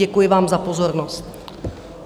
Děkuji vám za pozornost.